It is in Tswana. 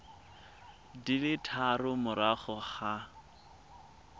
di le tharo morago ga